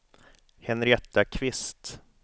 Henrietta Kvist